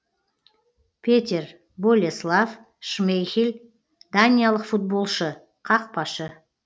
петер болеслав шмейхель даниялық футболшы қақпашы